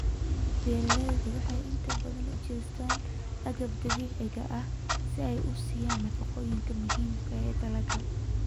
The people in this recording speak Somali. Beeraleydu waxay inta badan u jeestaan ??agabka dabiiciga ah si ay u siiyaan nafaqooyinka muhiimka ah ee dalagga.